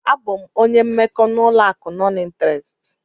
Abụ m onye mmekọ n'ụlọ akụ nọn ịnterest.